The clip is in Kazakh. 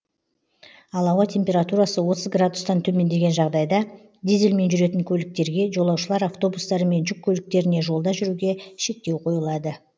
ал ауа температурасы отыз градустан төмендеген жағдайда дизельмен жүретін көліктерге жолаушылар автобустары мен жүк көліктеріне жолда жүруге шектеу қойылады